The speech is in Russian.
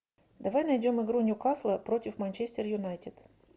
давай найдем игру ньюкасла против манчестер юнайтед